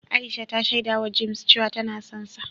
Aisha ta shaidawa James cewa tana sonsa.